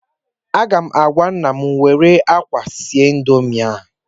Aga m agwa nnem were akwa sie Indomi ahụ